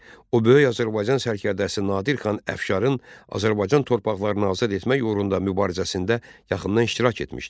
O böyük Azərbaycan sərkərdəsi Nadir xan Əfşarın Azərbaycan torpaqlarını azad etmək uğrunda mübarizəsində yaxından iştirak etmişdi.